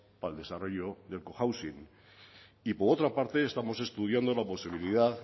para el desarrollo del cohousing y por otra parte estamos estudiando la posibilidad